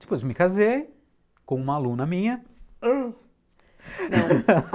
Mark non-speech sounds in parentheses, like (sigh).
Depois me casei com uma aluna minha (gasps)